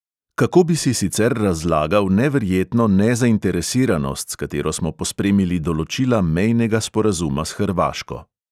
Kako bi si sicer razlagal neverjetno nezainteresiranost, s katero smo pospremili določila mejnega sporazuma s hrvaško.